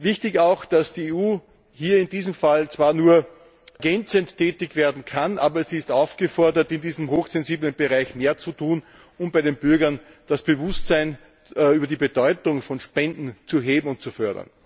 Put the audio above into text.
Wichtig ist auch, dass die EU in diesem Fall zwar nur ergänzend tätig werden kann, aber sie ist aufgefordert, in diesem hochsensiblen Bereich mehr zu tun, um bei den Bürgern das Bewusstsein über die Bedeutung von Spenden zu heben und zu fördern.